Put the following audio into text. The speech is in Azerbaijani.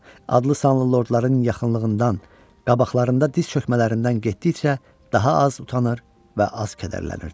Adlı-sanlı lordların yaxınlığından, qabaqlarında diz çökmələrindən getdikcə daha az utanır və az kədərlənirdi.